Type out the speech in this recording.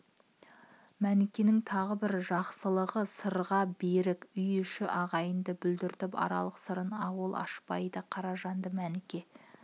мәнікенің тағы бір жақсылығы сырға берік үй ішін ағайынды бұлдіріп аларлық сырын ол ашпайды қаражанды мәніке